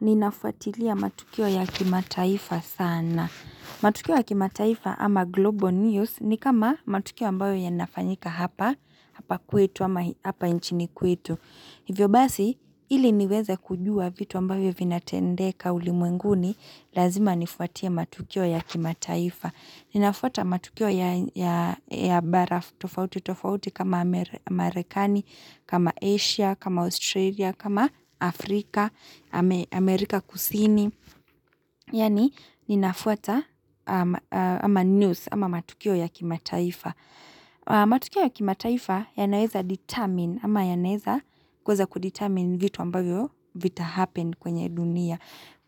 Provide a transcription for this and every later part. Ninafuatilia matukio ya kimataifa sana. Matukio ya kimataifa ama Global News ni kama matukio ambayo yanafanyika hapa, hapa kwetu hapa nchini kwetu. Hivyo basi, ili niweze kujua vitu ambavyo vinatendeka ulimwenguni, lazima nifuatilie matukio ya kimataifa. Ninafuata matukio ya bara tofauti tofauti kama Amerikani, kama Asia, kama Australia, kama Afrika. Amerika kusini, yani ninafuata ama news ama matukio ya kimataifa. Matukio ya kimataifa yanaweza determine ama ya naweza kudetermine vitu ambavyo vita happen kwenye dunia.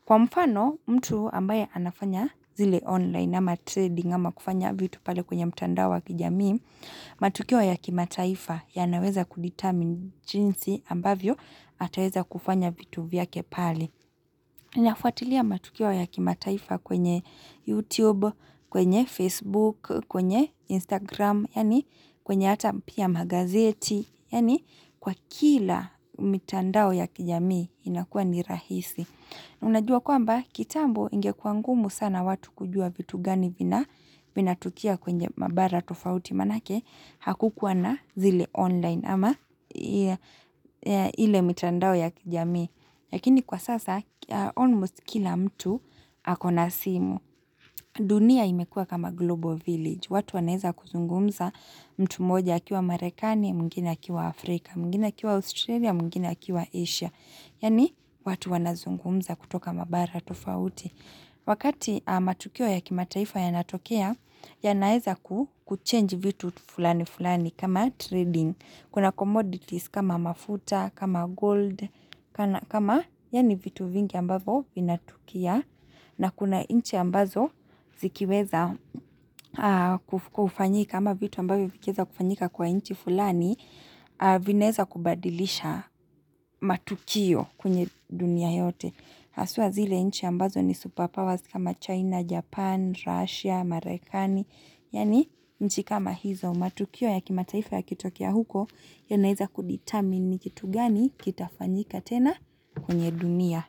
Kwa mfano mtu ambaye anafanya zile online ama trading ama kufanya vitu pale kwenye mtandao wa kijamii, matukio ya kimataifa yanaweza kudetermine jinsi ambavyo ataweza kufanya vitu vyake pale. Ninafuatilia matukio ya kimataifa kwenye YouTube, kwenye Facebook, kwenye Instagram, yani kwenye hata pia magazeti, yani kwa kila mitandao ya kijami inakua ni rahisi. Unajua kwamba kitambo ingekua ngumu sana watu kujua vitu gani vina, vinatokea kwenye mabara tofauti maana yake hakukuwa na zile online ama ile mitandao ya kijami. Lakini kwa sasa almost kila mtu yuko na simu. Dunia imekua kama global village. Watu wanaweza kuzungumza mtu mmoja akiwa Marekani, mwengine akiwa Afrika, mwengine akiwa Australia, mwengine akiwa Asia. Yaani watu wanazungumza kutoka Mabara tofauti. Wakati matukio ya kimataifa yanatokea yanaweza ku change vitu fulani fulani kama trading Kuna commodities kama mafuta, kama gold, kama yani vitu vingi ambavo vinatokea. Na kuna inchi ambazo zikiweza kufanyika kama vitu ambavyo vikiweza kufanyika kwa inchi fulani vinaweza kubadilisha matukio kwenye dunia yote haswa zile nchi ambazo ni superpowers kama China, Japan, Russia, Marekani. Yaani nchi kama hizo matukio ya kimataifa yakitokea huko. Yanaweza ku determine kitu gani kitafanyika tena kwenye dunia.